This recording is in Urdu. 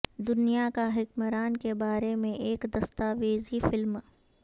دنیا کا حکمران کے بارے میں ایک دستاویزی فلم